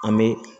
An bɛ